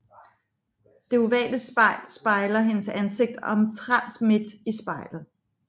Det ovale spejl spejler hendes ansigt omtrent midt i spejlet